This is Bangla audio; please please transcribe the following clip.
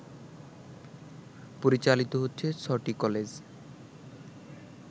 পরিচালিত হচ্ছে ৬টি কলেজ